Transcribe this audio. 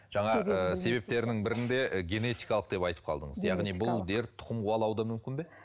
жаңа ы себептерінің бірінде ы генетикалық деп айтып қалдыңыз яғни бұл дерт тұқым қуалауы да мүмкін бе